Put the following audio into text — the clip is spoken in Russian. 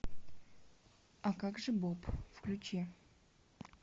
а как же боб включи